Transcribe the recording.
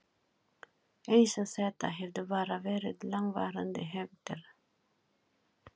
Eins og þetta hefðu bara verið langvarandi hefndir.